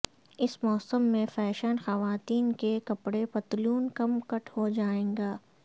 اس موسم میں فیشن خواتین کے کپڑے پتلون کم کٹ ہو جائے گا